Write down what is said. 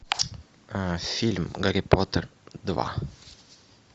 фильм гарри поттер два